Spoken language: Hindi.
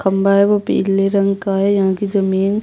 खम्बा है वो पिले रंग का है यहाँ की जमीन --